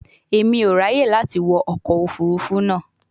Emi o raye lati wọ ọkọ ofurufu naa